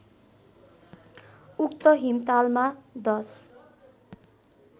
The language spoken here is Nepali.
उक्त हिमतालमा १०